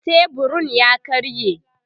teburun ya karye